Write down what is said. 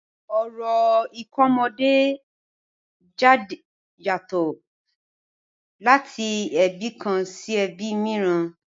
Orò ìkómojáde yàtọ̀ láti ẹbí kan sí ẹbi mìíràn.